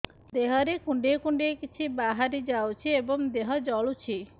ଦେହରେ କୁଣ୍ଡେଇ କୁଣ୍ଡେଇ କିଛି ବାହାରି ଯାଉଛି ଏବଂ ଦେହ ଜଳୁଛି